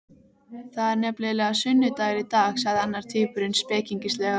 Það er nefnilega sunnudagur í dag sagði annar tvíburinn spekingslega.